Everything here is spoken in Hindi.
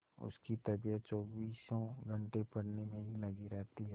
उसकी तबीयत चौबीसों घंटे पढ़ने में ही लगी रहती है